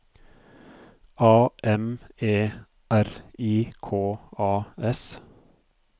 A M E R I K A S